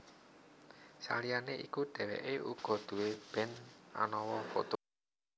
Saliyané iku dhèwèké uga nduwé band anama Foto